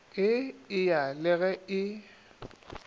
e eya le ge e